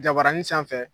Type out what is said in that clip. Jabaranin sanfɛ